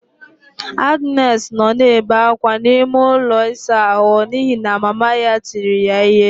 Agnes nọ na-ebe akwa n'ime ụlọ ịsa ahụ n'ihi na mama ya tiri ya ihe.